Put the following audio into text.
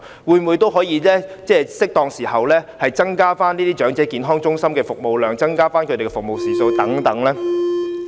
是否可以在適當時候，增加這些長者健康中心的服務量和服務時數呢？